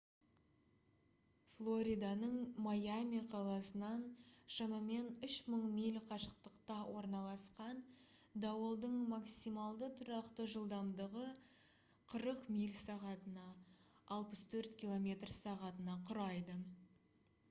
флориданың майами қаласынан шамамен 3 000 миль қашықтықта орналасқан дауылдың максималды тұрақты жылдамдығы 40 миль/сағ 64 км/сағ құрайды